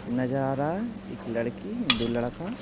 नजर आ रहा है एक लड़की दो लड़का--